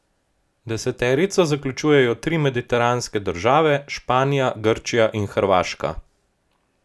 Deseterico zaključujejo tri mediteranske države Španija, Grčija in Hrvaška.